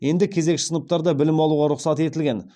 енді кезекші сыныптарда білім алуға рұқсат етілген